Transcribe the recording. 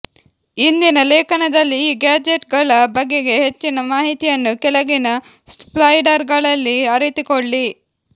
ಇಂದಿನ ಲೇಖನದಲ್ಲಿ ಈ ಗ್ಯಾಜೆಟ್ಗಳ ಬಗೆಗೆ ಹೆಚ್ಚಿನ ಮಾಹಿತಿಯನ್ನು ಕೆಳಗಿನ ಸ್ಲೈಡರ್ಗಳಲ್ಲಿ ಅರಿತುಕೊಳ್ಳಿ